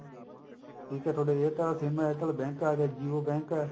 ਠੀਕ ਐ ਥੋਡੇ airtel sim ਐ airtel bank ਆ ਗਏ jio bank